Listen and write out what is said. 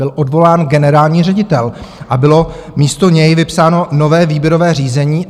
Byl odvolán generální ředitel a bylo místo něj vypsáno nové výběrové řízení.